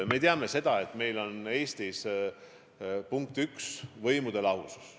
Me teame, et meil on Eestis, punkt 1, võimude lahusus.